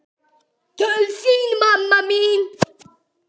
Til þín, mamma mín.